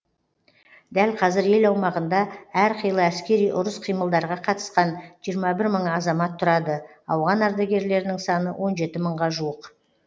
дәл қазір ел аумағында әрқилы әскери ұрыс қимылдарға қатысқан жиырма бір мың азамат тұрады ауған ардагерлерінің саны он жеті мыңға жуық